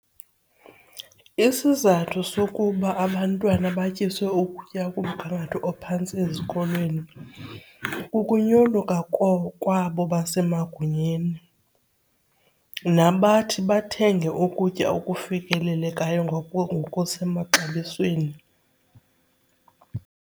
Isizathu sokuba abantwana batyiswe ukutya okumgangatho ophantsi ezikolweni kukunyoluka kwabo basemagunyeni nabathi bathenge ukutya okufikelelekayo ngokusemaxabisweni.